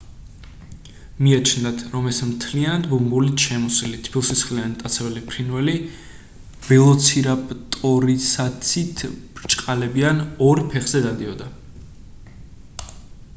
მიაჩნდათ რომ ეს მთლიანად ბუმბულით შემოსილი თბილსისხლიანი მტაცებელი ფრინველი ველოცირაპტორისაცით ბრჭყალებიან ორ ფეხზე დადიოდა